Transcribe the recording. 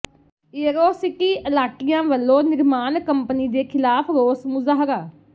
ਏਅਰੋਸਿਟੀ ਅਲਾਟੀਆਂ ਵੱਲੋਂ ਨਿਰਮਾਣ ਕੰਪਨੀ ਦੇ ਖ਼ਿਲਾਫ਼ ਰੋਸ ਮੁਜ਼ਾਹਰਾ